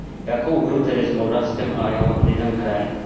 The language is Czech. Jakou hru tedy s Moldavskem a jeho lidem hrajeme?